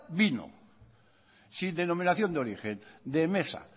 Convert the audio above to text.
vino sin denominación de origen de mesa